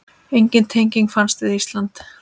Engin tenging fannst við Ísland.